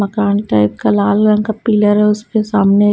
मकान टाइप का लाल रंग का पिलर है उसके सामने--